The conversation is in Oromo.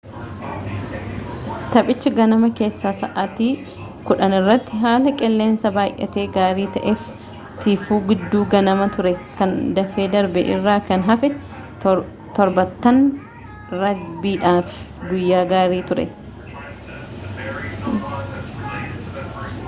taphichi ganama keessaa sa'aatii 10:00 irratti haala qilleensaa baay'ee gaarii ta'ee fi tiifuu giidduu ganamaa ture kan dafee darbee irraa kan hafe 7ttan raagbiidhaaf guyyaa gaarii ture